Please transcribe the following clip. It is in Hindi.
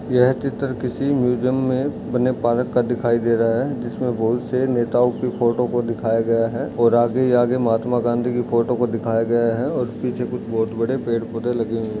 यह चित्र किसी म्यूजियम में बने पार्क का दिखाई दे रहा हैं जिसमें बहुत से नेताओ की फोटो को दिखाया गया हैं और आगे ही आगे महात्मा गांधी की फोटो को दिखाया गया हैं और पीछे कुछ बहोत बड़े पेड़-पौधे लगे हुए हैं।